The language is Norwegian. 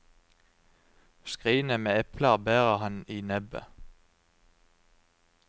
Skrinet med epler bærer han i nebbet.